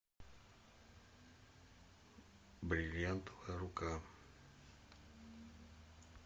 бриллиантовая рука